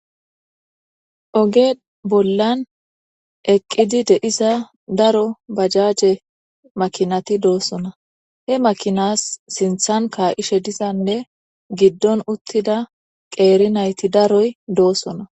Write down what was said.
Oge bolla eqida deyzza darro bajaje makinatti dossona he makina sinthan ka'she dizza darro qerri naytti dossona.